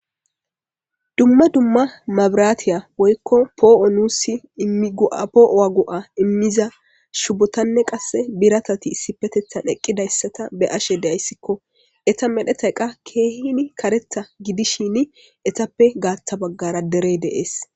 Dumma dumma mabiraatiya woykko poo'o nuussi immigu'a poo'o go'a immiza shubotanne qasse biratati issi petethan eqqidayssata be ashe deayssikko eta medhetayqa keehin karetha gidishini etappe gaatha baggara derey deees